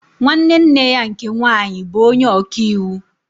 Nwanne nne ya nke nwaanyị bụ onye ọka iwu